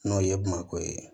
N'o ye bamakɔ ye